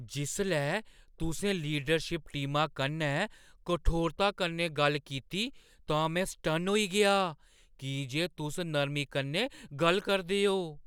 जिसलै तुसें लीडरशिप टीमा कन्नै कठोरता कन्नै गल्ल कीती तां में सटन्न होई गेआ की जे तुस नरमी कन्नै गल्ल करदे ओ।